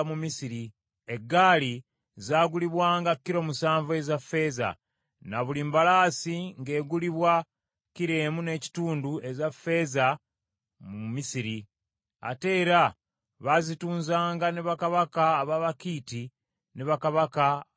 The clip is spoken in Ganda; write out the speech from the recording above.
Eggaali zaagulibwanga kilo musanvu eza ffeeza, na buli mbalaasi ng’egulibwa kilo emu n’ekitundu eza ffeeza mu Misiri. Ate era baazitunzanga ne bakabaka ab’Abakiiti ne bakabaka ab’e Busuuli.